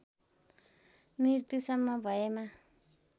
मृत्युसम्म भएमा